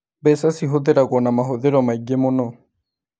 Mbeca cihũthĩragwo na mahũthĩro maingĩ mũno